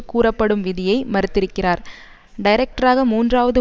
கூறப்படும் விதியை மறுத்திருக்கிறார் டைரக்டராக மூன்றாவது